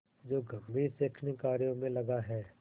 जो गंभीर शैक्षणिक कार्यों में लगा है